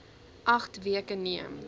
agt weke neem